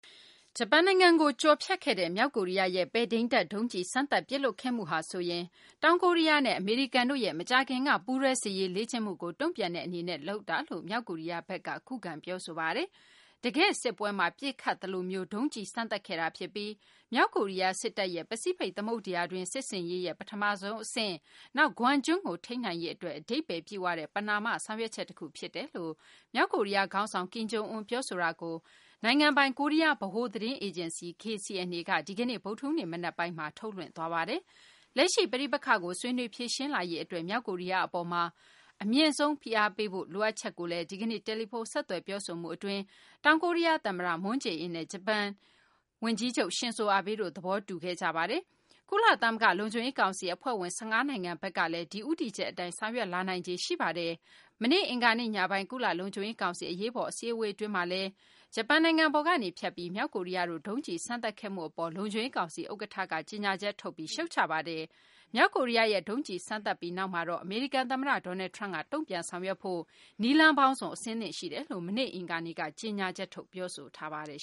ဂျပန်နိုင်ငံကို ကျော်ဖြတ်ခဲ့တဲ့ မြောက်ကိုရီးယားရဲ့ ပဲ့ထိန်းတပ် ဒုံးကျည် စမ်းသပ်ပစ်လွှတ်ခဲ့မှုဟာဆိုရင် တောင်ကိုရီးယားနဲ့ အမေရိကန်တို့ရဲ့ မကြာခင်က ပူးတွဲ စစ်ရေးလေ့ကျင့်မှုကို တုံ့ပြန်တဲ့ အနေနဲ့ လုပ်တာလို့ မြောက်ကိုရီးယားဘက်က ခုခံ ပြောဆိုလိုက်ပါတယ်။ တကယ့် စစ်ပွဲမှာ ပစ်ခတ်သလိုမျိုးဒုံးကျည် စမ်းသပ်ခဲ့တာ ဖြစ်ပြီး မြောက်ကိုရီးယား စစ်တပ်ရဲ့ ပစိဖိတ် သမုဒ္ဒရာတွင်း စစ်ဆင်ရေးရဲ့ ပထမဆုံး အဆင့်၊ နောက် Guam ကျွန်းကို ထိန်းနိုင်ရေး အတွက် အဓိပ္ပါယ်ပြည့်ဝတဲ့ ပဏာမ ဆောင်ရွက်ချက် တခုဖြစ်တယ်လို့ မြောက်ကိုရီးယား ခေါင်းဆောင် ကင်ဂံျုအွန် ပြောဆိုတာကို နိုင်ငံပိုင် ကိုရီးယား ဗဟိုသတင်းအေဂျင်စီ KCNA က ဒီကနေ့ ဗုဒ္ဓဟူးနေ့ မနက်ပိုင်းမှာ ထုတ်လွှွင့်ပါတယ်။ လက်ရှိ ပဋိပက္ခကို ဆွေးနွေးဖြေရှင်းလာရေး အတွက် မြောက်ကိုရီးယား အပေါ်မှာ အမြင့်ဆုံး ဖိအားပေးဖို့ လိုအပ်ချက်ကိုလည်း ဒီကနေ့ တယ်လီဖုန်း ဆက်သွယ်ပြောဆိုမှု အတွင်း တောင်ကိုရီးယား သမ္မတ Moon Jae-in နဲ့ ဂျပန်ဝန်ကြီးချုပ်Shinzo Abe တို့ သဘောတူခဲ့ကြပါတယ်။ ကုလသမဂ္ဂ လုံခြုံရေး ကောင်စီ အဖွဲ့ဝင် ၁၅ နိုင်ငံ ဘက်ကလည်း ဒီဦးတည်ချက် အတိုင်း ဆောင်ရွက်လာနိုင်ခြေ ရှိပါတယ်။ မနေ့ အင်္ဂါနေ့ ညပိုင်း ကုလလုံခြုံရေးကောင်စီ အရေးပေါ် အစည်းအဝေး အတွင်းမှာလည်း ဂျပန်နိုင်ငံပေါ်ကနေ ဖြတ်ပြီး မြောက်ကိုရီးယားတို့ ဒုံးကျည် စမ်းသပ်ခဲ့မှု အပေါ်လုံခြုံရေးကောင်စီ ဥက္ကဌက ကြေညာချက်ထုတ်ပြီး ရှုတ်ချပါတယ်။ မြောက်ကိုရီးယားရဲ့ ဒုံးကျည်စမ်းသပ်ပြီး နောက်မှာတော့ အမေရိကန် သမ္မတ Donald Trump က တုံ့ပြန်ဆောင်ရွက်ဖို့ နည်းလမ်းပေါင်းစုံ အဆင်သင့် ရှိနေတယ်လို့ မနေ့ အင်္ဂါနေ့မှာ ကြေညာချက်ထုတ် ပြောဆိုထားပါတယ်